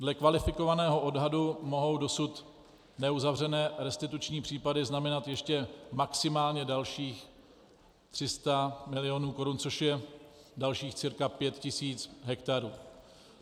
Dle kvalifikovaného odhadu mohou dosud neuzavřené restituční případy znamenat ještě maximálně dalších 300 milionů korun, což je dalších cca 5 tisíc hektarů.